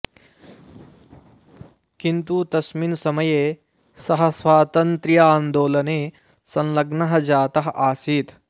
किन्तु तस्मिन् समये सः स्वातन्त्र्यान्दोलने संलग्नः जातः आसीत्